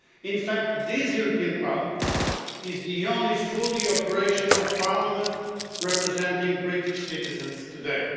In fact, this European Parliament is the only fully operational parliament representing British citizens today.